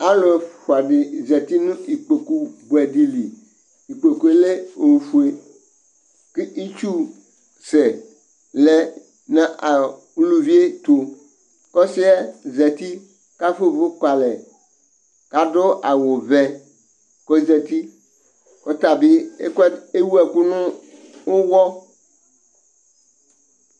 Zlʊ ɛfʊa dɩ zatɩ ŋʊ ɩƙpoƙʊ ɓʊɛ dɩlɩ Ɩƙpoƙʊ lɛ ofʊe ʊ ɩtsʊsɛ lɛ ŋʊ ʊlʊʋɩe tʊ, ƙɔsɩɛ zatɩ ƙafʊa ʊʋʊ ƙʊalɛ, ƙadʊ awʊ ʋɛ kɔzatɩ kɔtaɓi ewʊ ɛkʊ ŋʊ ʊƴɔ